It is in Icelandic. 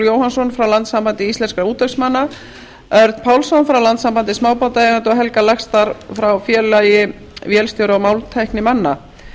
jóhannsson frá landssambandi íslenskra útvegsmanna örn pálsson frá landssambandi smábátaeigenda og helga laxdal frá félagi vélstjóra og málmtæknimanna